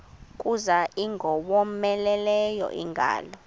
kuza ingowomeleleyo ingalo